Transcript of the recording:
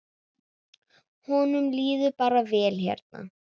Honum líður bara vel hérna.